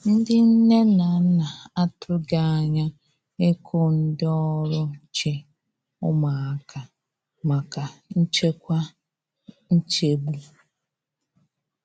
Ndi nne na nna a tụghi anya iku ndi ọrụ nche ụmụaka maka nchekwa nchegbu.